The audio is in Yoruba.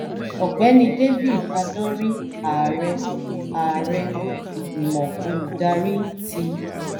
ọ̀gbẹ́ni david adonri ààrẹ ààrẹ ìgbìmọ̀ olùdarí ti